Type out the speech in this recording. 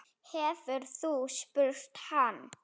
Hefurðu spurt hann?